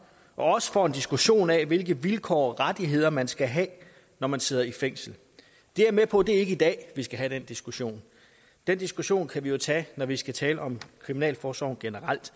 også får en diskussion af hvilke vilkår og rettigheder man skal have når man sidder i fængsel jeg er med på at det ikke er i dag vi skal have den diskussion den diskussion kan vi tage når vi skal tale om kriminalforsorgen generelt